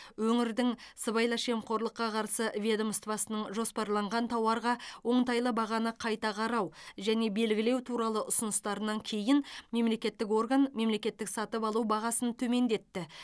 өңірдің сыбайлас жемқорлыққа қарсы ведомствосының жоспарланған тауарға оңтайлы бағаны қайта қарау және белгілеу туралы ұсыныстарынан кейін мемлекеттік орган мемлекеттік сатып алу бағасын төмендетті